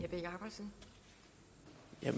jeg